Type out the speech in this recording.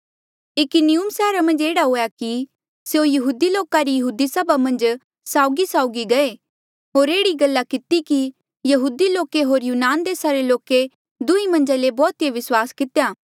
इकुनियुम सैहरा मन्झ एह्ड़ा हुएया कि स्यों यहूदी लोका री यहूदी सभा मन्झ साउगीसाउगी गये होर एह्ड़ी गल्ला किती कि यहूदी लोके होर यूनान देसा रे लोके दुंहीं मन्झा ले बौहुतिए विस्वास कितेया